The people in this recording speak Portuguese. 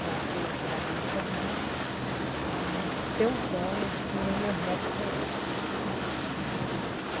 Para que eu chegasse a me formar, para mim ter um sonho que nem meus netos tem hoje, né.